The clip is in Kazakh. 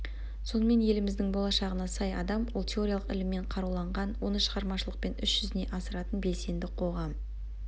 сонымен еліміздің болашағына сай адам ол теориялық іліммен қаруланған оны шығармашылықпен іс жүзіне асыратын белсенді қоғам